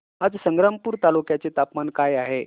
आज संग्रामपूर तालुक्या चे तापमान काय आहे